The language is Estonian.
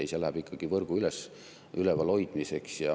Ei, see läheb ikkagi võrgu ülevalhoidmiseks.